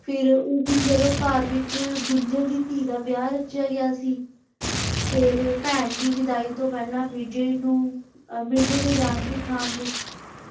ਫਿਰ ਉਸ ਦਿਨ ਜਦੋ ਘਰ ਵਿਚ ਬਿੰਜਲ ਦੀ ਧੀ ਦਾ ਵਿਆਹ ਰੱਖਿਆ ਗਿਆ ਸੀ ਫੇਰ ਭੈਣ ਦੀ ਵਿਦਾਈ ਤੋਂ ਪਹਿਲਾ ਮਿਰਜ਼ੇ ਨੂੰ ਮਿਰਜੇ ਨੇ ਜਾਣ ਦੀ ਥਾਂ ਲਈ।